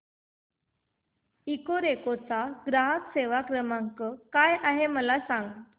Ecoreco चा ग्राहक सेवा क्रमांक काय आहे मला सांग